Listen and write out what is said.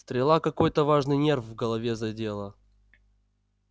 стрела какой-то важный нерв в голове задела